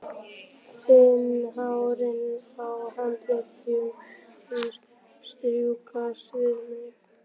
Finn hárin á handleggjum hans strjúkast við mig.